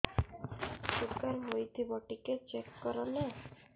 sugar ହେଇଥିବ ଟିକେ check କର ନା